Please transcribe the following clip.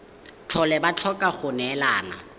tlhole ba tlhoka go neelana